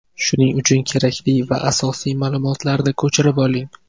Shuning uchun kerakli va asosiy ma’lumotlarni ko‘chirib oling.